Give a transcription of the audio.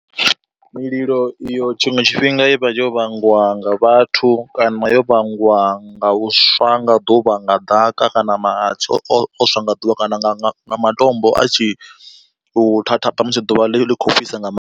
Mililo iyo tshiṅwe tshifhinga i vha yo vhangwa nga vhathu kana yo vhangwa nga u swa nga ḓuvha nga ḓaka kana mahatsi o swa nga ḓuvha kana nga nga matombo a tshi u thathaba musi ḓuvha ḽi kho fhisa nga ma.